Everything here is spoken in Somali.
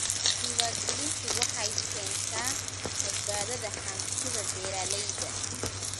Diiwaangelintu waxay keentaa badbaadada hantida beeralayda.